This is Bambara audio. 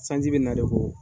Sanji bɛ nare ko